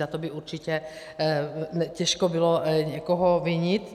Za to by určitě těžko bylo někoho vinit.